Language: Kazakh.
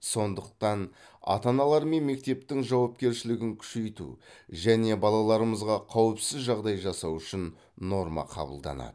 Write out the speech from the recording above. сондықта ата аналар мен мектептің жауапкершілігін күшейту және балаларымызға қауіпсіз жағдай жасау үшін норма қабылданады